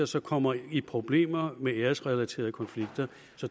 som kommer i problemer med æresrelaterede konflikter